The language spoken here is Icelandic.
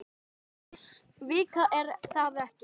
Vika er það ekki?